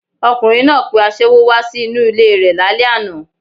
Ọkùnrin náà pe aṣẹ́wó wá sí inú ilé e rẹ̀ lálẹ́ àná